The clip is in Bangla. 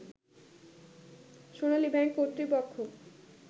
সোনালী ব্যাংক কর্তৃপক্ষ